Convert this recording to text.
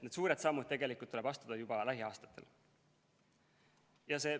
Need suured sammud tuleb tegelikult astuda juba lähiaastatel.